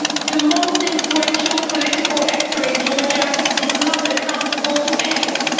the most influential political actor in Georgia is not accountable to anyone